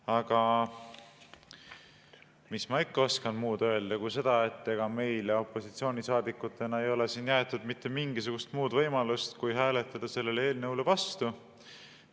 Aga mis ma ikka oskan muud öelda kui seda, et ega meile opositsioonisaadikutena ei ole jäetud mitte mingisugust muud võimalust kui hääletada sellele eelnõule vastu.